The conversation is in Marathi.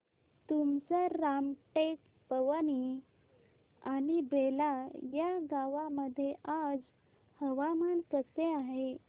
तुमसर रामटेक पवनी आणि बेला या गावांमध्ये आज हवामान कसे आहे